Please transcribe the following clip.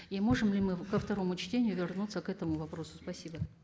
и можем ли мы ко второму чтению вернуться к этому вопросу спасибо